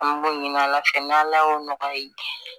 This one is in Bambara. An b'o ɲini ala fɛ n'ala y'o nɔgɔya ye